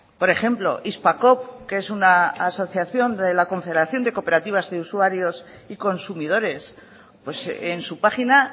por ejemplo hispacoop que es una asociación de la confederación de cooperativas de usuarios y consumidores en su página